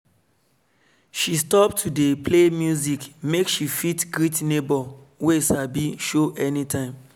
she stop to dey play music make she fit greet neighbor wey sabi show any time